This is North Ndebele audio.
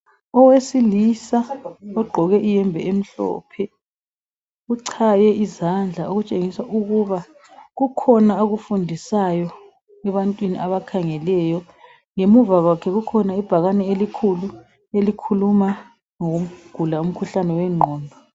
Owesilisa ogqoke iyembe emhlophe .Uchaye izandla okutshengisa ukuba kukhona akufundisayo ebantwini abakhangeleyo . Ngemuva kwakhe kukhona ibhakane elikhulu elikhuluma ngokugula umkhuhlane wengqondo .